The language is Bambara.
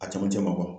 A cɛmancɛ ma bɔ